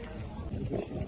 Yaxşıdır, yaxşıdır, yaxşıdır.